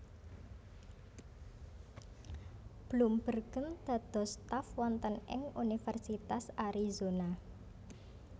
Bloembergen dados staf wonten ing Universitas Arizona